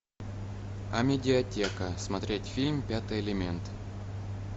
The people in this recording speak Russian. амедиатека смотреть фильм пятый элемент